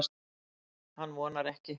Hann vonar ekki.